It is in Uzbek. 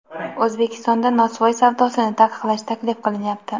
O‘zbekistonda nosvoy savdosini taqiqlash taklif qilinyapti.